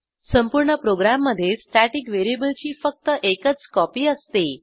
संपूर्ण प्रोग्रॅममधे स्टॅटिक व्हेरिएबलची फक्त एकच कॉपी असते